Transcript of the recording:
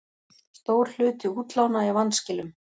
Stór hluti útlána í vanskilum